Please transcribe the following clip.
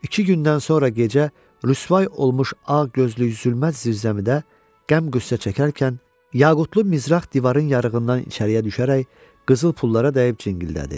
İki gündən sonra gecə rüsvay olmuş ağ gözlü zülmət zirzəmidə qəm qüssə çəkərkən, yaqutlu mizrax divarın yarığından içəriyə düşərək qızıl pullara dəyib cingildədi.